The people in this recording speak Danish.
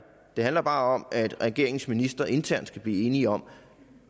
det handler bare om at regeringens ministre internt skal blive enige om